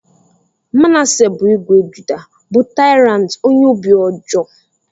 Manasseh bụ ìgwè Judah, bụ tyrant ónyé óbị ọjọọ.